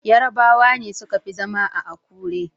Yarabawa ne suka fi zama a Akure.